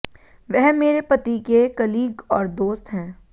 वह मेरे पति के कलीग और दोस्त हैं